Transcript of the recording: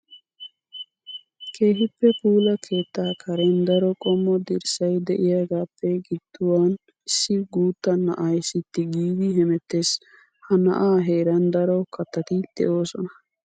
Keeehippe puula keetta karen daro qommo dirssay de'iyagappe gidduwan issi guuta na'ay sitti giidi hemeetes. Ha na'aa heeran daro kattati de'osonna.